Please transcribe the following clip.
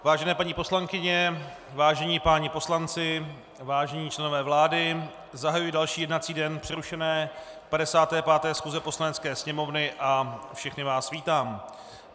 Vážené paní poslankyně, vážení páni poslanci, vážení členové vlády, zahajuji další jednací den přerušené 55. schůze Poslanecké sněmovny a všechny vás vítám.